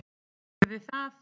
Þannig yrði það.